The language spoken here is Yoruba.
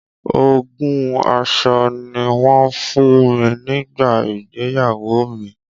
Ogún aṣọ ni wọn fun mi nígbà ìgbéyàwó mi.